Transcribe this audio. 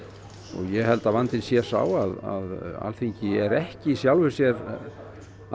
ég held að vandinn sé sá að Alþingi er ekki í sjálfu sér að